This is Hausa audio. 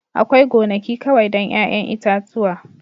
Akwai gonaki kawai don 'ya'yan itatuwa